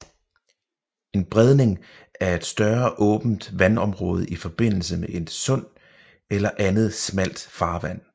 En bredning er et større åbent vandområde i forbindelse med et sund eller andet smalt farvand